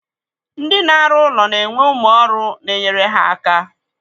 Ndi na-arụ ụlọ na-enwe ụmụ ọrụ na enyere ha aka.